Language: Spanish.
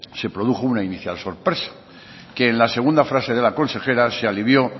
se produjo una inicial sorpresa que en la segunda frase de la consejera se alivió